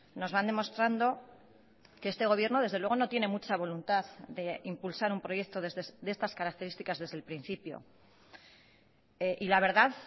nos van demostrando que este gobierno desde luego no tiene mucha voluntad de impulsar un proyecto de estas características desde el principio y la verdad